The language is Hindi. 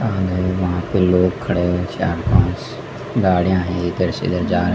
और वहां पे लोग खड़े है चार पांच गाड़ियाँ हैं इधर से उधर जा रहे--